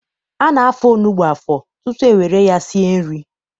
A na-afọ onugbu afọ tutu e were ya sie nri.